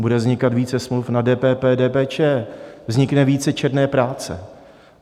Bude vznikat více smluv na DPP, DPČ, vznikne více černé práce.